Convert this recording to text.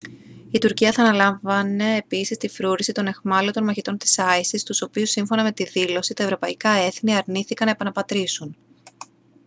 η τουρκία θα αναλάμβανε επίσης την φρούρηση των αιχμάλωτων μαχητών της isis τους οποίους σύμφωνα με τη δήλωση τα ευρωπαϊκά έθνη αρνήθηκαν να επαναπατρίσουν